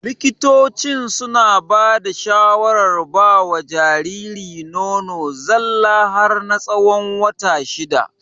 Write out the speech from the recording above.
Likitocin suna bada shawarar bawa Jariri nono zalla har na tsawon wata shida